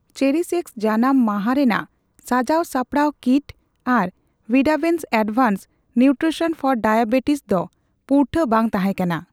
CherishX ᱡᱟᱱᱟᱢ ᱢᱟᱦᱟᱨᱮᱱᱟᱜ ᱥᱟᱡᱟᱣ ᱥᱟᱯᱲᱟᱣ ᱠᱤᱴ ᱟᱨ ᱣᱤᱰᱟᱣᱮᱱᱥ ᱮᱰᱵᱷᱟᱱᱥᱰ ᱱᱤᱣᱴᱨᱤᱥᱚᱱ ᱯᱷᱚᱨ ᱰᱟᱭᱟᱵᱮᱴᱤᱥ ᱰᱚ ᱯᱩᱨᱴᱷᱟᱹ ᱵᱟᱝ ᱛᱟᱦᱮᱸᱠᱟᱱᱟ ᱾